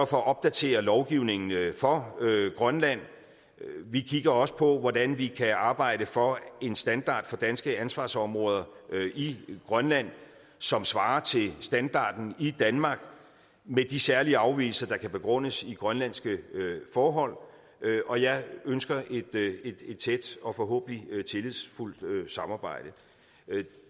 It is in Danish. for at opdatere lovgivningen for grønland vi kigger også på hvordan vi kan arbejde for en standard for danske ansvarsområder i grønland som svarer til standarden i danmark med de særlige afvigelser der kan begrundes i grønlandske forhold og jeg ønsker et tæt og forhåbentlig tillidsfuldt samarbejde